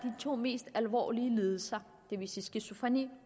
to mest alvorlige lidelser det vil sige skizofreni